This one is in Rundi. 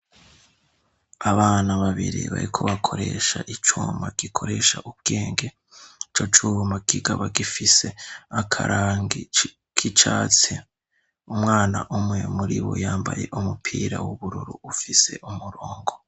abana babiri bariko bakoresha icuma gikoresha ubwenge ico cuma kikaba gifise akarangi k'icatsi umwana umwe muribo yambaye umupira w'ubururu ufise umurongo